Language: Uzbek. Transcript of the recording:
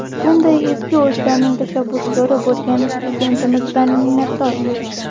Bunday ezgu ishlarning tashabbuskori bo‘lgan Prezidentimizdan minnatdormiz.